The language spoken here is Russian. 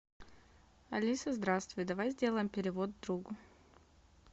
алиса здравствуй давай сделаем перевод другу